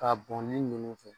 K'a bɔnni ɲini n fɛ.